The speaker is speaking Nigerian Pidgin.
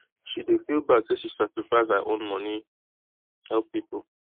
she dey feel bad say she sacrifice her own money help people